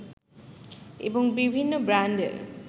এবং বিভিন্ন ব্রান্ডের